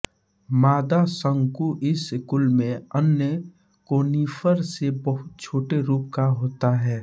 मादा शंकु इस कुल में अन्य कोनीफर से बहुत छोटे रूप का होता है